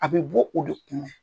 A bɛ bɔ o de